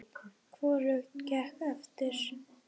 Hvorugt gekk eftir.